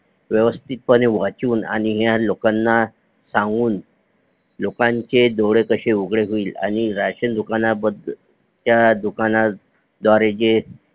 व्यवस्तीत पने वाचून आणि ह्या लोकांना सांगून लोकांचे डोळे कशे उघडे होईल आणि राशन दुकाना त्या दुकाना द्वारे जे